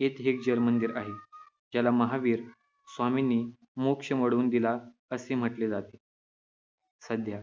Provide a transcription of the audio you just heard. येथे एक जलमंदिर आहे, ज्याला महावीर स्वामींनी मोक्ष मिळवून दिला होता असे म्हटले जाते. सध्या